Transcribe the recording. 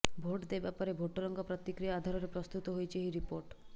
vote ଦେବା ପରେ ଭୋଟରଙ୍କ ପ୍ରତିକ୍ରିୟା ଆଧାରରେ ପ୍ରସ୍ତୁତ ହୋଇଛି ଏହି ରିପୋର୍ଟ